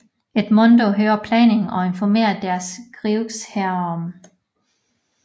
Edmondo hører planen og informerer des Grieux herom